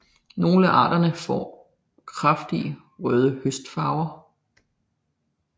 Nogle af arterne får kraftigt røde høstfarver